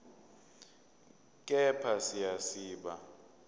kepha siya siba